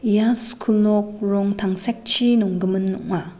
ia skul nok rong tangsekchi nonggimin ong·a.